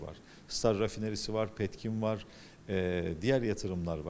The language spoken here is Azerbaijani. STAR Neft Emalı Zavodu var, Petkim var, eee digər sərmayələr var.